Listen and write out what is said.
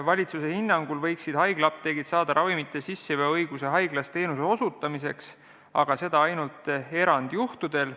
Valitsuse hinnangul võiksid haiglaapteegid saada ravimite sisseveo õiguse haiglas teenuse osutamiseks, aga seda ainult erandjuhtudel.